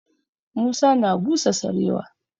Musa na busa sarewa.